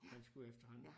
Man skulle efterhånden